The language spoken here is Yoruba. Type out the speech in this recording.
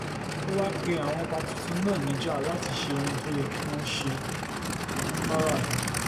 ó wáá pe àwọn ọba tuntun náà níjà láti ṣe ohun tó yẹ kí wọ́n ṣe fáráàlú wọn